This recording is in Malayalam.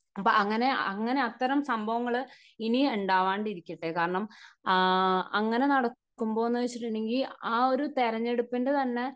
അപ്പോൾ അങ്ങനെ അത്തരം സംഭവങ്ങൾ ഇനി ഉണ്ടാവാതിരിക്കട്ടെ കാരണം ആഹ് അങ്ങനെ നടക്കുമ്പോഎന്നു വെച്ചിട്ടുണ്ടെങ്കിൽ ആ ഒരു തെരഞ്ഞെടുപ്പിന്റെ തന്നെ